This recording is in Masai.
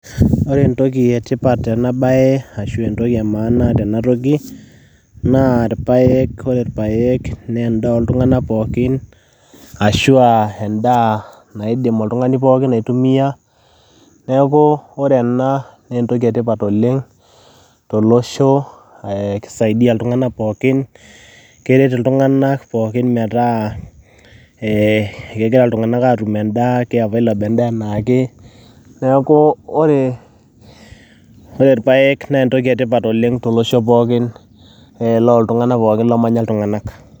ore entoki ee tipat te bae ashu entoki ee maana tena toki, naa irpaek. ore irpaek naa endaa oo iltung'anak pookin ashu aa endaa naidim pookin tung'ani aitumia. neaku ore ena naa entoki ee tipat oleng' toloshoo neaku keisaidia iltung'anaka pookin. keret iltung'anak pookin metaa kegira iltung'anak endaa metaa ke available endaa anaake, neaku ore irpaek naa entoki ee tipat oleng' tolosho pookin loo iltung'anak pookin loomanya iltung'ank.